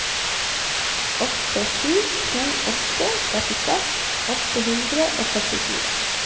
åtte sju to åtte trettiseks åtte hundre og førtifire